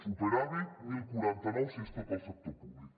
superàvit deu quaranta nou si és tot el sector públic